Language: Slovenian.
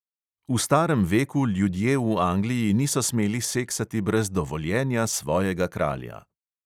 V starem veku ljudje v angliji niso smeli seksati brez dovoljenja svojega kralja.